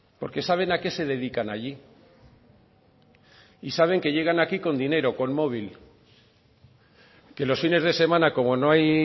porque saben a qué se dedican allí y saben que llegan aquí con dinero con móvil que los fines de semana como no hay